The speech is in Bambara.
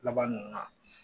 Laban ninnu na